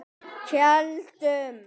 Keldum